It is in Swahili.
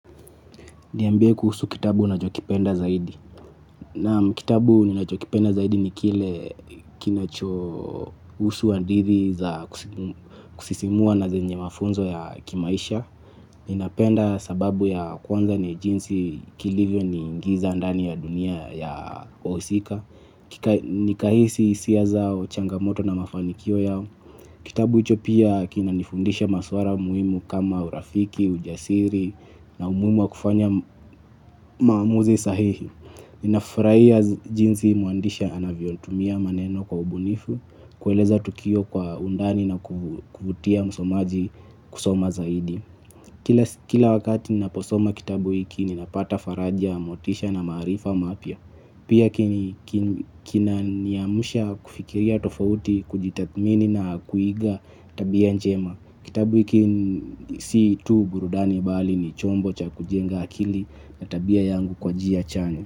Niambie kuhusu kitabu unachokipenda zaidi. Naam kitabu ninachokipenda zaidi ni kile kinachohusu hadithi za kusisimua na zenye mafunzo ya kimaisha. Ninapenda sababu ya kwanza ni jinsi kilivyo niingiza ndani ya dunia ya wahusika. Nikahisi hisia zao changamoto na mafanikio yao. Kitabu hicho pia kinanifundisha maswara muhimu kama urafiki, ujasiri na umuhimu wa kufanya maamuzi sahihi. Ninafurahia jinsi mwandishi anavyotumia maneno kwa ubunifu, kueleza tukio kwa undani na kuvutia msomaji kusoma zaidi. Kila wakati ninaposoma kitabu hiki ninapata faraja motisha na maarifa mapya. Pia kinaniamsha kufikiria tofauti kujitathmini na kuiga tabia njema. Kitabu hiki si tu burudani bali ni chombo cha kujenga akili na tabia yangu kwa njia chanya.